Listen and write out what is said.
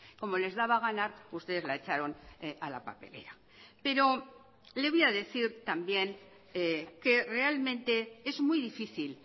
como les daba a ganar ustedes la echaron a la papelera pero le voy a decir también que realmente es muy difícil